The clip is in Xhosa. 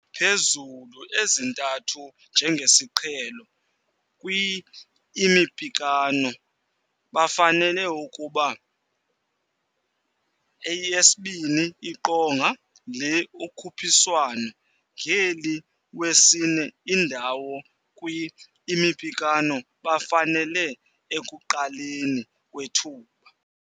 Phezulu-ezintathu njengesiqhelo kwi-imiphakamo bafanele ukuba Yesibini Iqonga le-ukhuphiswano, ngeli wesine indawo kwi-imiphakamo bafanele Ekuqaleni Kwethuba.